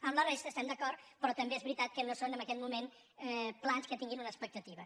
amb la res·ta hi estem d’acord però també és veritat que no són en aquest moment plans que tinguin una expectativa